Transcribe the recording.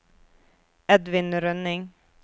Edvin Rønning